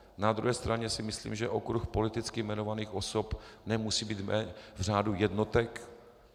Na druhé straně si myslím, že okruh politicky jmenovaných osob nemusí být v řádu jednotek.